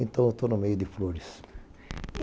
Então, eu estou no meio de flores.